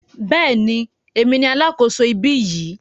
Bẹ́ẹ̀ni, èmi ni alákòso ibí yìí.